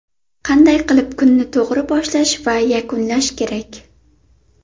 Qanday qilib kunni to‘g‘ri boshlash va yakunlash kerak?.